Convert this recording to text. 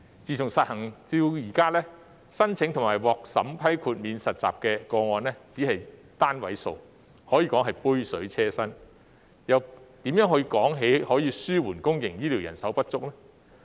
自實行至今，申請及獲審批豁免實習的個案只是單位數，可說是杯水車薪，又怎談得上紓緩公營醫療人手不足呢？